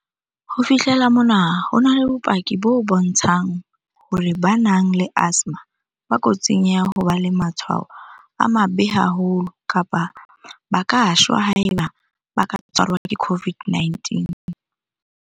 Ho fihlela mona, ho na le bopaki bo bontshang hore ba nang le asthma ba kotsing ya ho ba le matshwao a mabe haholo kapa ba ka shwa haeba ba ka tshwarwa ke COVID-19.